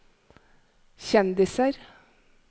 kjendiser